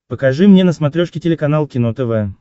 покажи мне на смотрешке телеканал кино тв